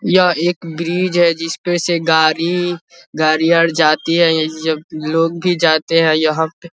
यह एक ब्रिज है जिस पे से गाड़ी गाड़ियाँ जाती है इस लोग भी जाते हैं यहाँ पे --